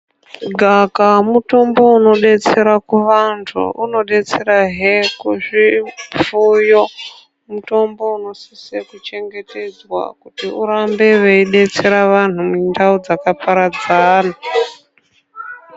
Gavakava mutombo unodetsera kuvantu unodetserahe kuzvifuyo mutombo unosise kuchegetedzwa kuti urambe weidetsera vantu mundau dzakaparadzana.